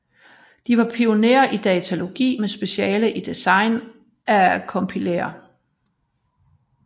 De var pionerer i datalogi med speciale i design af compilere